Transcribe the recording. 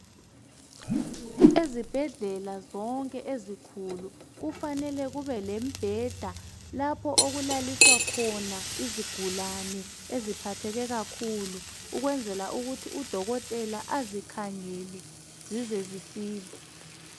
ezibhedlela zonke ezinkulu kufanele kube lembheda lapho okulaliswa khona izigulane eziphatheke kakhulu ukwenzela ukuthi u dokotela azikhangele zize zisile